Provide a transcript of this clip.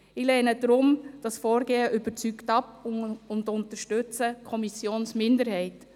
Ich lehne das Vorgehen deshalb überzeugt ab und unterstütze die Kommissionsminderheit.